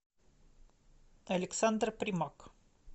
александр примак